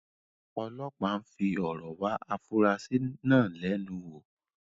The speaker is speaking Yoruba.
ọlọpàá ń fi ọ̀rọ̀ wá afurasí náà lẹ́nu wò.